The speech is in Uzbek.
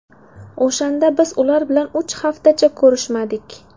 O‘shanda biz ular bilan uch haftacha ko‘rishmadik.